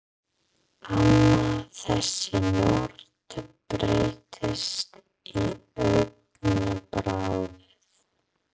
Amma, þessi norn, breyttist á augabragði.